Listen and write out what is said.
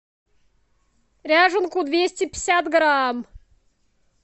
ряженку двести пятьдесят грамм